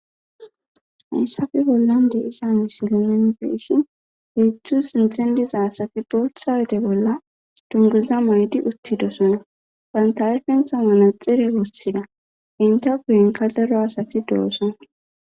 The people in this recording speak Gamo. Hayssafe bollan deisa misilelen beishin heetzdzu sinxendiza asati booththa wode bolla dunguza maydi uttidosona banta hayfenta manaxire wossida inte guyenka lero asati dooson